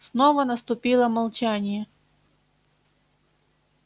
снова наступило молчание